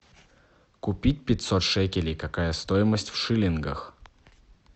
купить пятьсот шекелей какая стоимость в шиллингах